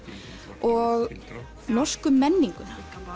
og norsku menninguna